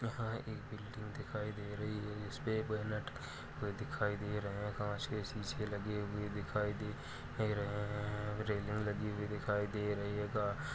यहाँ एक बिल्डिंग दिखाई दे रही है जिस पे दिखाई दे रहे है। कांच के शीसे लगे हुए दिखाई दे दे रहे हैं। रेलिंग लगी हुई दिखाई दे रही है। गा --